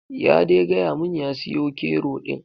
Ya dai gayamun ya siyo kero ɗin.